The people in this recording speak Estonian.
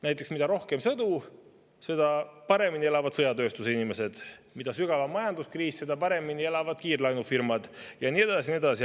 Näiteks, mida rohkem on sõdu, seda paremini elavad sõjatööstuse inimesed, mida sügavam on majanduskriis, seda paremini elavad kiirlaenufirmad, ja nii edasi ja nii edasi.